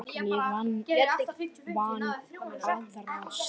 En ég vann aðra slagi.